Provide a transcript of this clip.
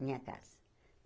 Minha casa.